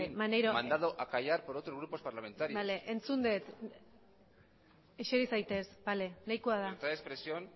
mandado a callar por otros grupos parlamentarios bale entzun dut eseri zaitez bale nahikoa da libertad de expresión